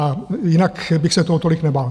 A jinak bych se toho tolik nebál.